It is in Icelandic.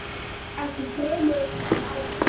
Ekki fremur en áður.